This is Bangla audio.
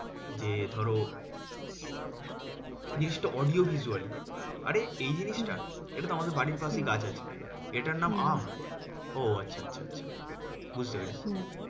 যে ধরো জিনিসটা audio visually আরে এই জিনিসটা এটা তো আমাদের বাড়ির পাশেই গাছ আছে, এটার নাম আম ও আচ্ছা আচ্ছা বুঝতে পেরেছি